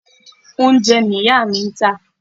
Oúnjẹ ni ìyá mi ń tà.